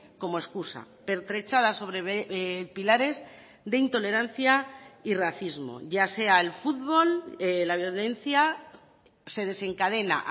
como excusa pertrechada sobre pilares de intolerancia y racismo ya sea el futbol la violencia se desencadena